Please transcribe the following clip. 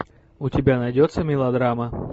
у тебя найдется мелодрама